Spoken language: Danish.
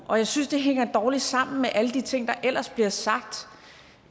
og jeg synes det hænger dårligt sammen med alle de ting der ellers bliver sagt